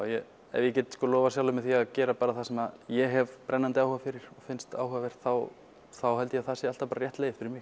ef ég get lofað sjálfum mér því að gera bara það sem ég hef brennandi áhuga fyrir og finnst áhugavert þá þá held ég að það sé alltaf rétt leið fyrir mig